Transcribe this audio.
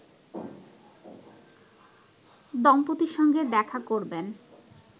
দম্পতির সঙ্গে দেখা করবেন